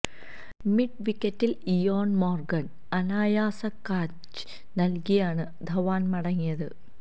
mid വിക്കറ്റില് Eoin Morgan അനായാസ catch നല്കിയാണ് ധവാന് മടങ്ങിയത്